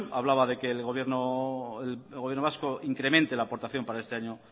hablaba de que el gobierno vasco incremente la aportación para este año